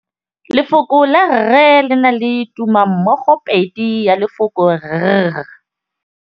Lefoko la rre, le na le tumammogôpedi ya, r.